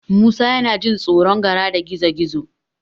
Musa yana jin tsoron Gara da Gizo-gizo.